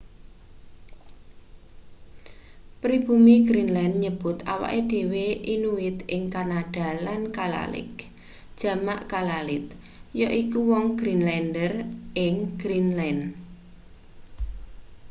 pribumi greenland nyebut awake dhewe inuit ing kanada lan kalaalleq jamak kalaallit yaiku wong greenlander ing greenland